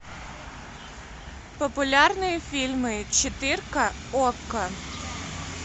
популярные фильмы четырка окко